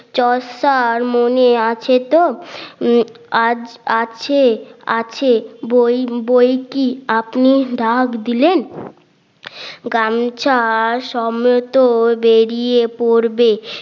Chaucer মনে আছে তো আছে আছে বই বই কি আপনি ডাক দিলেন গামছা সম্মত বেড়িয়ে পড়বে